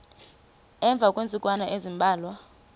emva kweentsukwana ezimbalwa